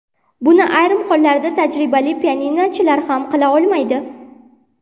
Buni ayrim hollarda tajribali pianinochilar ham qila olmaydi.